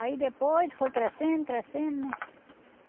Aí depois foi crescendo, crescendo, né?